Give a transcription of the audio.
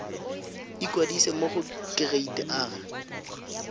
ikwadisa mo go kereite r